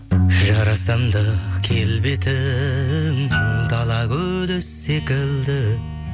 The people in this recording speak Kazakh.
жарасымды келбетің дала гүлі секілді